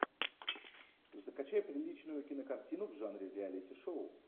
закачай приличную кинокартину в жанре реалити шоу